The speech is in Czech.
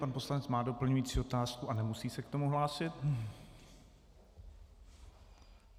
Pan poslanec má doplňující otázku a nemusí se k tomu hlásit.